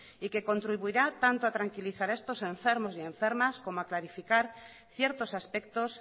y que contribuirá tanto a tranquilizar a estos enfermos y enfermas como a clarificar ciertos aspectos